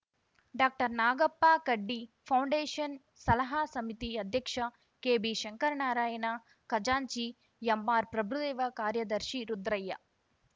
doctor Nagappa Kaddi foundation ಸಲಹಾ ಸಮಿತಿ ಅಧ್ಯಕ್ಷ ಕೆಬಿ ಶಂಕರನಾರಾಯಣ ಖಜಾಂಚಿ ಎಂಆರ್‌ ಪ್ರಭುದೇವ ಕಾರ್ಯದರ್ಶಿ ರುದ್ರಯ್ಯ